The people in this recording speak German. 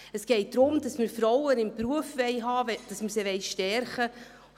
Es geht darum, dass wir Frauen im Beruf haben möchten, dass wir sie stärken möchten.